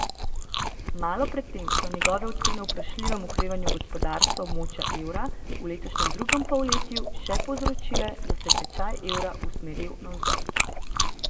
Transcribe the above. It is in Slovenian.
Malo pred tem so njegove ocene o vprašljivem okrevanju gospodarstva območja evra v letošnjem drugem polletju še povzročile, da se je tečaj evra usmeril navzdol.